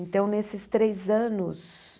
Então, nesses três anos...